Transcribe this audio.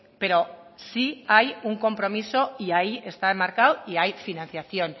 pero sí hay un compromiso y ahí está enmarcado y hay financiación